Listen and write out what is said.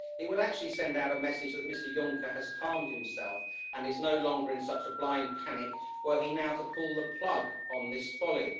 It would actually send out a message that Mr Juncker has calmed himself and is no longer in such a blind panic were he now to pull the plug on this folly.